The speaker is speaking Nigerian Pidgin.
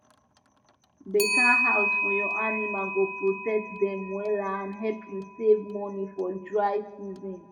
better house for your animal go protect dem wella and help u save money for dry season